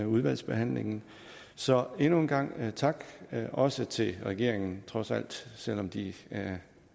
udvalgsbehandlingen så endnu en gang tak også til regeringen trods alt selv om de